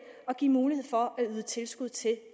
og give mulighed for at yde tilskud til